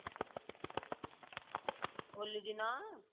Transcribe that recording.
ହୋଲି ଦିନ?